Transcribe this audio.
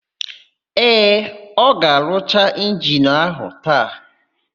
Ee, ọ ga-arụcha injini áhụ̀ taa.